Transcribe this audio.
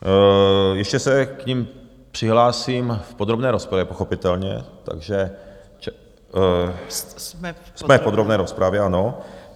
Ještě se k nim přihlásím v podrobné rozpravě pochopitelně, takže jsme... v podrobné rozpravě, ano.